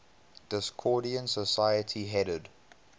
discordian society headed